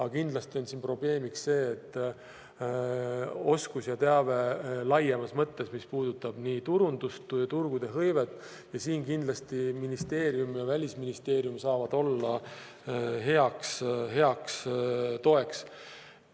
Aga kindlasti on siin probleemiks oskus ja teave laiemas mõttes, mis puudutab nii turundust, turgude hõivet, ja siin kindlasti ministeerium ja Välisministeerium saavad olla heaks toeks.